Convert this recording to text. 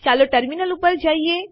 ચાલો ટર્મિનલ પર જઈએ